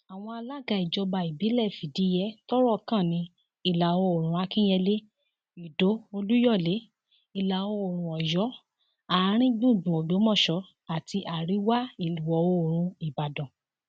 àwọn alága ìjọba ìbílẹ fìdíhe tọrọ kan ní ìlàoòrùn akínyẹlé ìdó olúyọlé ìlàoòrùn ọyọ àáríngbùngbùn ògbómọṣọ àti àríwáìwọoòrùn ìbàdàn